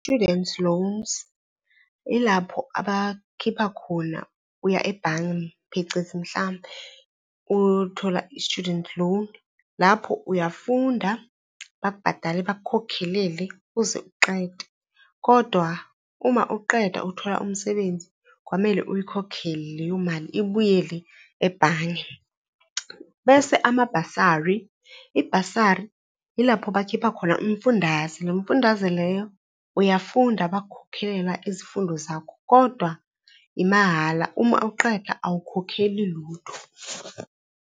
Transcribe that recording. Student loans, yilapho abakhipha khona uya ebhange, phecezi mhlampe uyothola i-student loan. Lapho uyafunda, bakubhadale, bakukhokhelele uze uqede. Kodwa, uma uqeda uthola umsebenzi kwamele uyikhokhele leyo mali ibuyele ebhange. Bese amabhasari, ibhasiri yilapho bakhipha khona umfundaze, lo mfundaze leyo uyafunda bakukhokhela izifundo zakho kodwa imahhala uma uqeda awukhokheli lutho.